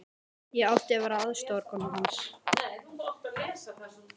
Ég átti að vera aðstoðarkona hans.